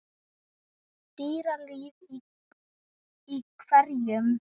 Dýralíf í hverum